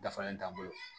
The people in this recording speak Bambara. Dafalen t'an bolo